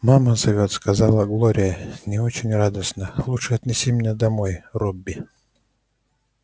мама зовёт сказала глория не очень радостно лучше отнеси меня домой робби